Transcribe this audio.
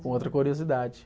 Com outra curiosidade.